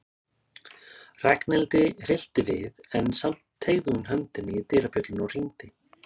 Ragnhildi hryllti við en samt teygði hún höndina í dyrabjölluna og hringdi.